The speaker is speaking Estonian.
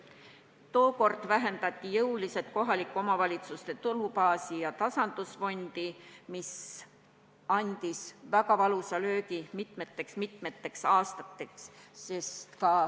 Tookord vähendati jõuliselt kohalike omavalitsuste tulubaasi ja tasandusfondi ning see andis väga valusa löögi mitmeteks-mitmeteks aastateks.